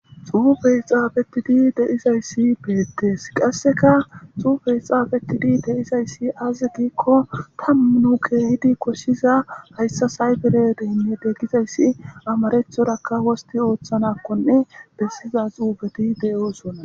Xuufey xsafid de'iyays betes, qaseka xufey xafetida kesizays aze gikon 10 keexidi koshiza sayibere deninete gizaysi amarathoraka wosti othanakonne besiza xufet de'osona.